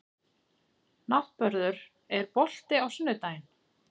Náttmörður, er bolti á sunnudaginn?